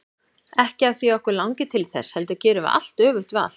Ekki af því að okkur langi til þess, heldur gerum við allt öfugt við allt.